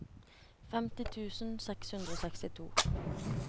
femti tusen seks hundre og sekstito